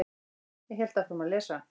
Ég hélt áfram að lesa.